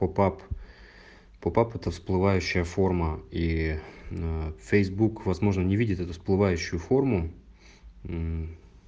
по пап по пап это всплывающая форма и фейсбук возможно не видит это всплывающую форму